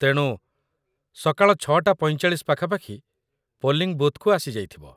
ତେଣୁ ସକାଳ ୬ଟା ୪୫ ପାଖାପାଖି ପୋଲିଂ ବୁଥ୍‌କୁ ଆସିଯାଇଥିବ ।